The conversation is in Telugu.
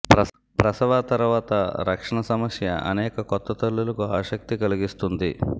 ప్రసవ తర్వాత రక్షణ సమస్య అనేక కొత్త తల్లులకు ఆసక్తి కలిగిస్తుంది